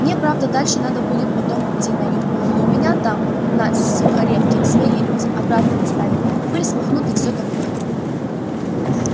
мне правда дальше надо будет потом идти на юг но у меня там на сухаревке свои люди обратно доставят пыль смахнут и все такое